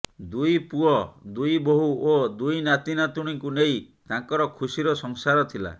ଦୁଇ ପୁଅ ଦୁଇ ବୋହୂ ଓ ଦୁଇ ନାତି ନାତୁଣୀଙ୍କୁ ନେଇ ତାଙ୍କର ଖୁସିର ସଂସାର ଥିଲା